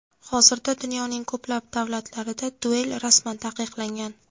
Hozirda dunyoning ko‘plab davlatlarida duel rasman taqiqlangan.